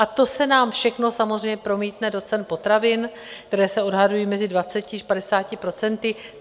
A to se nám všechno samozřejmě promítne do cen potravin, které se odhadují mezi 20 až 50 procenty.